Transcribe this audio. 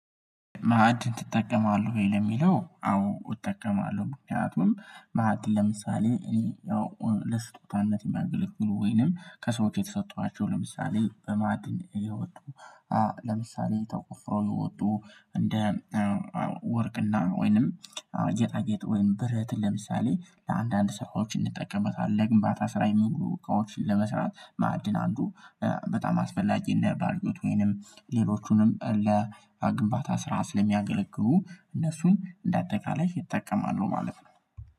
ማዕድ ትጠቀማለህ ወይ? ለሚለው አዎ እጠቀማለሁ ምክንያቱም ማዕድ ለምሳሌ እኔ ያው ለስጦታነት የሚያገለግሉ ወይንም ከሰዎች የተሰጠኋቸው ለምሳሌ በማድን እየወጡ አ ለምሳሌ ተቆፍሮ የወጡ እንደ ወርቅና ወይንም ጌጣጌጥ ወይም ብረት ለምሳሌ ለአንዳንድ ሰዎች እንጠቀምበታለን ለግንባታ ስራ የሚሉ እቃዎችን ለመስራት ማዕድን አንዱ በጣም አስፈላጊ እነ ባልዩት ወይንም ሌሎቹንም ለግንባታ ስራ እነሱን እንደ አጠቃላይ ይጠቀማሉ ማለት ነው